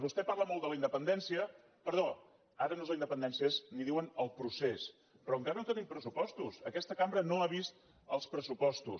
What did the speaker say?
vostè parla molt de la independència perdó ara no és la independència és en diuen el procés però encara no tenim pressupostos aquesta cambra no ha vist els pressupostos